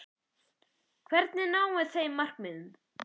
Hvernig náum við þeim markmiðum?